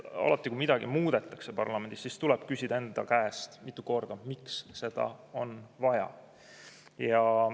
Alati, kui midagi muudetakse parlamendis, siis tuleb endalt mitu korda küsida, miks seda on vaja.